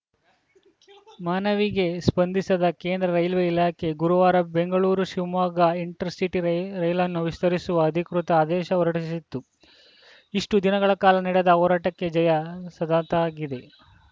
ಮನವಿಗೆ ಸ್ಪಂದಿಸಿದ ಕೇಂದ್ರ ರೈಲ್ವೆ ಇಲಾಖೆ ಗುರುವಾರ ಬೆಂಗಳೂರುಶಿವಮೊಗ್ಗ ಇಂಟರ್‌ಸಿಟಿ ರೇ ರೈಲನ್ನು ವಿಸ್ತರಿಸುವ ಅಧಿಕೃತ ಆದೇಶ ಹೊರಡಿಸಿತ್ತು ಇಷ್ಟುದಿನಗಳ ಕಾಲ ನಡೆದ ಹೋರಾಟಕ್ಕೆ ಜಯ ಸದಂತಾಗಿದೆ